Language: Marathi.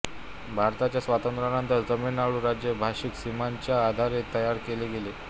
भारताच्या स्वातंत्र्यानंतर तामिळनाडू राज्य भाषिक सीमांच्या आधारे तयार केले गेले